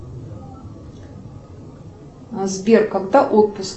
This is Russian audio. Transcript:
сбер когда отпуск